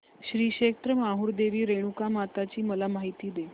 श्री क्षेत्र माहूर देवी रेणुकामाता ची मला माहिती दे